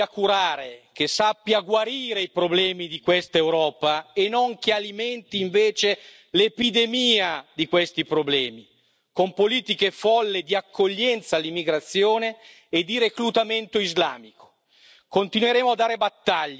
Pretendiamo un'Europa che sappia curare, che sappia guarire i problemi di questa Europa e non che alimenti invece l'epidemia di questi problemi con politiche folli di accoglienza all'immigrazione e di reclutamento islamico.